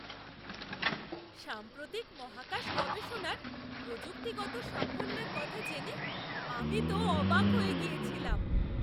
সাম্প্রতিক মহাকাশ গবেষণার প্রযুক্তিগত সাফল্যের কথা জেনে আমি তো অবাক হয়ে গিয়েছিলাম!